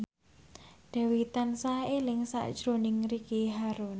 Dewi tansah eling sakjroning Ricky Harun